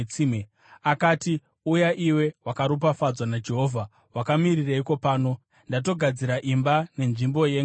Akati, “Uya iwe wakaropafadzwa naJehovha. Wakamirireiko pano? Ndatogadzira imba nenzvimbo yengamera.”